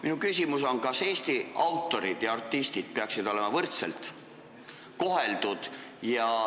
Minu küsimus on, kas Eesti autorid ja artistid peaksid olema võrdselt koheldud.